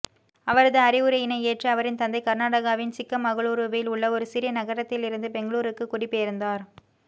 அவரது அறிவுரையினை ஏற்று அவரின் தந்தை கர்நாடகாவின் சிக்கமகளூருவில் உள்ள ஒரு சிறிய நகரத்திலிருந்து பெங்களூருக்கு குடிபெயர்ந்தார்